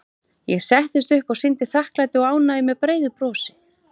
Ég settist upp og sýndi þakklæti og ánægju með breiðu brosi.